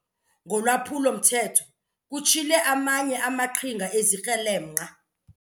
Ngolwaphulo-mthetho kutyhile amanye amaqhinga ezikrelemnqa.